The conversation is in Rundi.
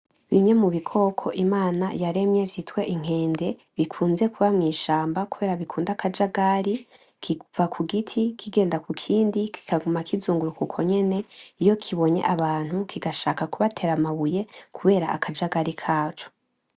Bimwe mu bikoko Imana yaremye vyitwa Inkende bikunze kuba mwishamba kubera bikunda akajagari kiva kugiti kigenda kukindi kikaguma kizunguruka uko nyene iyo kibonye abantu kigashaka kubatera amabuye kubera akajagari kaco.